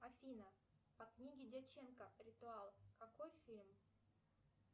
афина по книге дьяченко ритуал какой фильм